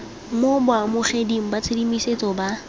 mo baamogeding ba tshedimosetso ba